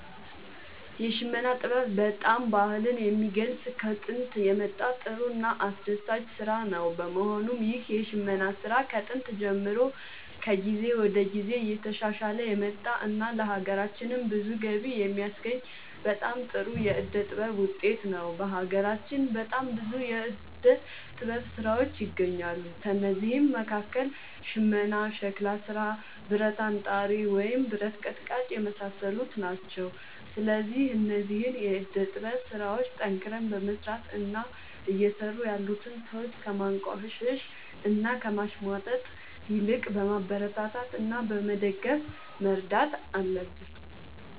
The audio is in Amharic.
የሽመና ጥበብ በጣም ባህልን የሚገልፅ ከጦንት የመጣ ጥሩ እና አስደሳች ስራ ነው በመሆኑም ይህ የሽመና ስራ ከጥንት ጀምሮ ከጊዜ ወደ ጊዜ እየተሻሻለ የመጣ እና ለሀገራችንም ብዙ ገቢ የሚያስገኝ በጣም ጥሩ የዕደ ጥበብ ውጤት ነው። በሀገራችን በጣም ብዙ የዕደ ጥበብ ስራዎች ይገኛሉ ከእነዚህም መካከል ሽመና ሸክላ ስራ ብረት አንጣሪ ወይም ብረት ቀጥቃጭ የመሳሰሉት ናቸው። ስለዚህ እነዚህን የዕደ ጥበብ ስራዎች ጠንክረን በመስራት እና እየሰሩ ያሉትን ሰዎች ከማንቋሸሽ እና ከማሽሟጠጥ ይልቅ በማበረታታት እና በመደገፍ መርዳት አለብን